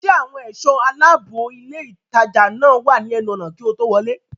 Ṣé àwọn ẹ̀ṣọ́ aláàbòilé ìtajà náà wà ní ẹnu ọ̀nà kí o tó wọlé